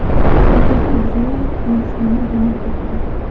Shavkat Mirziyoyev Hindistonga jo‘nab ketdi .